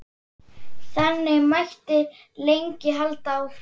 Þannig mætti lengi halda áfram.